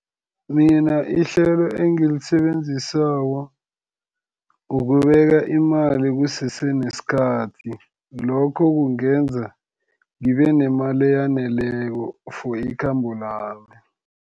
Mina ihlelo engilisebenzisako, ukubeka imali kusese nesikhathi. Lokho kungenza ngibenemali eyaneleko for ikhambo lami.